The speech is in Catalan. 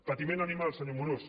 patiment animal senyor amorós